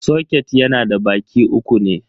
Soket yana da baki uku ne.